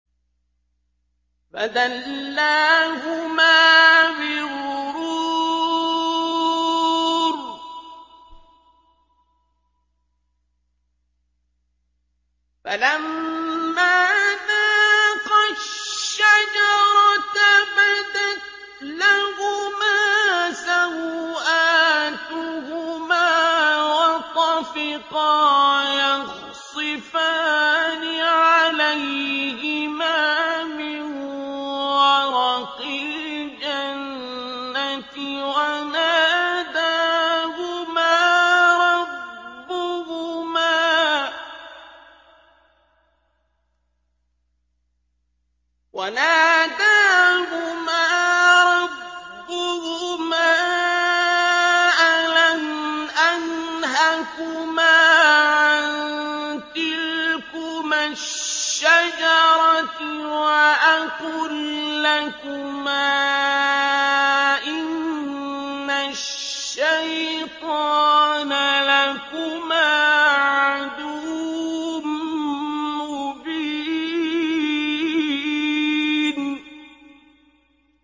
فَدَلَّاهُمَا بِغُرُورٍ ۚ فَلَمَّا ذَاقَا الشَّجَرَةَ بَدَتْ لَهُمَا سَوْآتُهُمَا وَطَفِقَا يَخْصِفَانِ عَلَيْهِمَا مِن وَرَقِ الْجَنَّةِ ۖ وَنَادَاهُمَا رَبُّهُمَا أَلَمْ أَنْهَكُمَا عَن تِلْكُمَا الشَّجَرَةِ وَأَقُل لَّكُمَا إِنَّ الشَّيْطَانَ لَكُمَا عَدُوٌّ مُّبِينٌ